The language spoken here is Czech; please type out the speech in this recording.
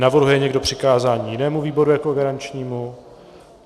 Navrhuje někdo přikázání jinému výboru jako garančnímu?